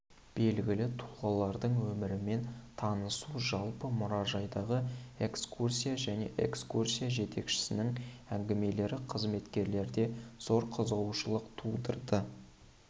белгілі тұлғалардың өмірімен танысу жалпы мұражайдағы экскурсия және экскурсия жетекшісінің әңгімелері қызметкерлерде зор қызығушылық тудырды